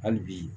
Hali bi